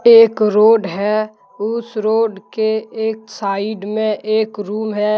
एक रोड है। उस रोड के एक साइड में एक रूम है।